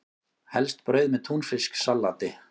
Helst brauð með túnfisksalati.